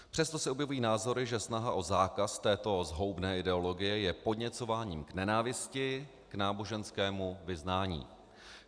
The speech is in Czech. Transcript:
Přesto se objevují názory, že snaha o zákaz této zhoubné ideologie je podněcováním k nenávisti, k náboženskému vyznání.